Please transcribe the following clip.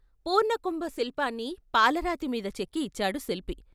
పూర్ణకుంభ శిల్పాన్ని పాలరాతిమీద చెక్కి ఇచ్చాడు శిల్పి.